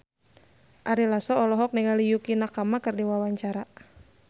Ari Lasso olohok ningali Yukie Nakama keur diwawancara